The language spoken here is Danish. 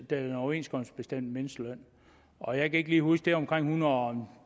den overenskomstbestemte mindsteløn og jeg kan ikke lige huske om det er en hundrede og